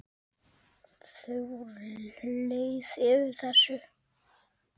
Þau voru leið yfir þessu.